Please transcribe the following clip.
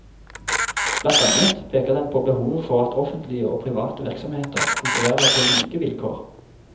Blant annet peker den på behovet for at offentlige og private virksomheter konkurrerer på like vilkår.